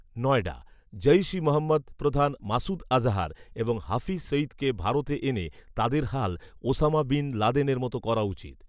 নয়ডা, জইশ ই মহম্মদ প্রধান মাসুদ আজহার এবং হাফিজ সঈদকে ভারতে এনে তাদের হাল ওসামা বিন লাদেনের মতো করা উচিত